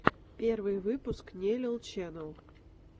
первый выпуск нелил ченел